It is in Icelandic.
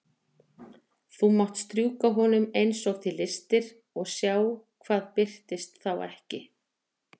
Þá máttu strjúka honum eins og þig lystir og sjá hvað birtist þá ekki.